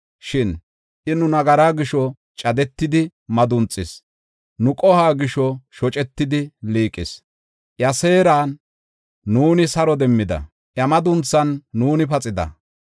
Shin I nu nagaraa gisho, cadetidi madunxis; nu qohuwa gisho shocetidi liiqis. Iya seeran nuuni saro demmida; iya madunthan nuuni paxida.